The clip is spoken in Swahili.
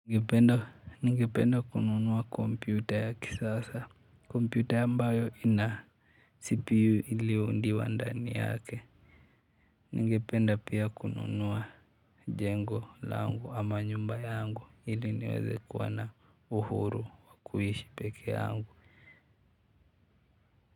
Ningependa kununua kompyuta ya kisasa. Kompyuta ambayo ina CPU iliyoundiwa ndani yake. Ningependa pia kununua jengo langu ama nyumba yangu ili niweze kuwa na uhuru wa kuishi peke yangu.